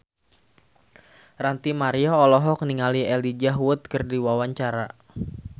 Ranty Maria olohok ningali Elijah Wood keur diwawancara